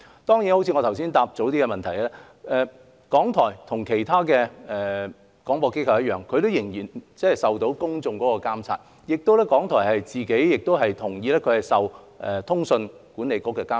當然，正如我剛才回答議員的質詢時所說，港台跟其他廣播機構一樣，仍然受公眾的監察，而港台亦同意受通訊局的監察。